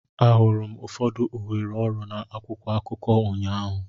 Ahụrụ m ụfọdụ ohere ọrụ na akwụkwọ akụkọ ụnyaahụ.